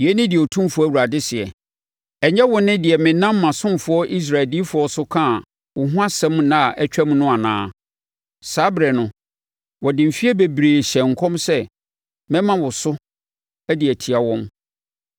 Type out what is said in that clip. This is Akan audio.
“ ‘Yei ne deɛ Otumfoɔ Awurade seɛ: Ɛnyɛ wo ne deɛ menam mʼasomfoɔ Israel adiyifoɔ so kaa wo ho asɛm nna a atwam no anaa? Saa ɛberɛ no, wɔde mfeɛ bebree hyɛɛ nkɔm sɛ mɛma wo so de atia wɔn.